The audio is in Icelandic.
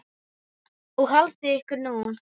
Og haldið ykkur nú.